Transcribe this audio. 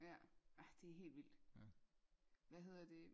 Ja ja det helt vildt hvad hedder det